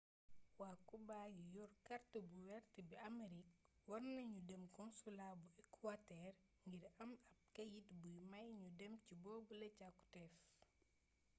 waa kuba yi yor kàrt bu wert bu amerig war nanu dem konsulaa bu ekuwatër ngir am ab keyt buy may nu dem ci boobule càkuteef